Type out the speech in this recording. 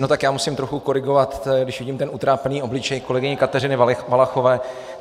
No tak já musím trochu korigovat, když vidím ten utrápený obličej kolegyně Kateřiny Valachové.